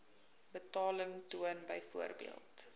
betaling toon byvoorbeeld